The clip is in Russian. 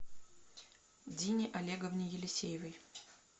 дине олеговне елисеевой